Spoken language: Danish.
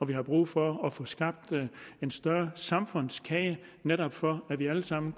vi har brug for at få skabt en større samfundskage netop for at vi alle sammen